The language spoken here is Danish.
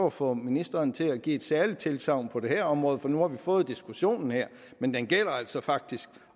at få ministeren til at give et særligt tilsagn på det her område for nu har vi fået diskussionen her men det gælder altså faktisk